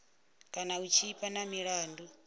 kana u tshipa na milandu